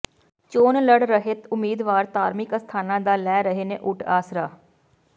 ਚੋਣ ਲੜ ਰਹੇ ਉਮੀਦਵਾਰ ਧਾਰਮਿਕ ਅਸਥਾਨਾਂ ਦਾ ਲੈ ਰਹੇ ਨੇ ਓਟ ਆਸਰਾ